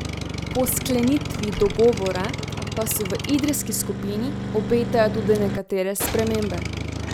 Po sklenitvi dogovora pa se v idrijski skupini obetajo tudi nekatere spremembe.